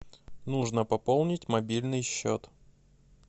нужно пополнить мобильный счет